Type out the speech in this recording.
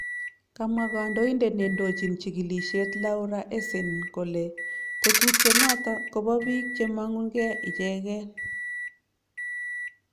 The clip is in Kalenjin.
komwa kantoindet nendochin chikilisiet Laura Ensign kole tetutiet noton koba biik chemanguge icheken